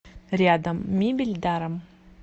рядом мебель даром